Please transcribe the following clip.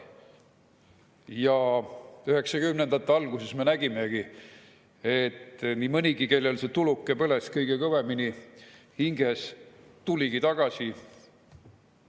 1990-ndate alguses me nägimegi, et nii mõnigi, kellel see tuluke põles kõige kõvemini hinges, tuligi tagasi.